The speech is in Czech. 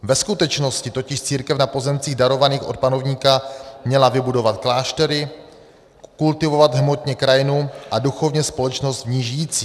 Ve skutečnosti totiž církev na pozemcích darovaných od panovníka měla vybudovat kláštery, kultivovat hmotně krajinu a duchovně společnost v ní žijící.